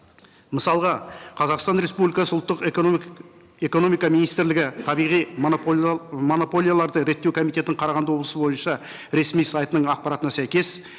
мысалға қазақстан республикасы ұлттық экономика министрлігі табиғи монополияларды реттеу комитетінің қарағанды облысы бойынша ресми сайтының ақпаратына сәйкес